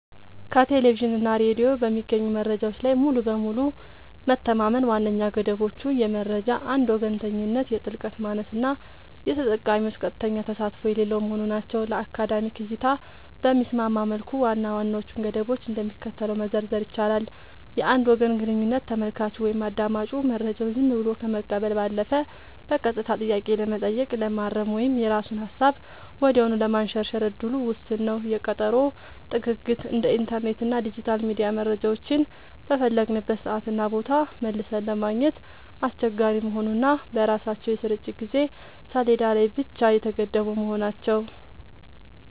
ከቴሌቪዥን እና ሬዲዮ በሚገኙ መረጃዎች ላይ ሙሉ በሙሉ መተማመን ዋነኛ ገደቦቹ የመረጃ አንድ ወገንተኝነት፣ የጥልቀት ማነስ እና የተጠቃሚዎች ቀጥተኛ ተሳትፎ የሌለው መሆኑ ናቸው። ለአካዳሚክ እይታ በሚስማማ መልኩ ዋና ዋናዎቹን ገደቦች እንደሚከተለው መዘርዘር ይቻላል፦ የአንድ ወገን ግንኙነት : ተመልካቹ ወይም አዳማጩ መረጃውን ዝም ብሎ ከመቀበል ባለፈ በቀጥታ ጥያቄ ለመጠየቅ፣ ለማረም ወይም የራሱን ሃሳብ ወዲያውኑ ለማንሸራሸር እድሉ ውስን ነው። የቀጠሮ ጥግግት : እንደ ኢንተርኔት እና ዲጂታል ሚዲያ መረጃዎችን በፈለግንበት ሰዓትና ቦታ መልሰን ለማግኘት አስቸጋሪ መሆኑ እና በራሳቸው የስርጭት የጊዜ ሰሌዳ ላይ ብቻ የተገደቡ መሆናቸው።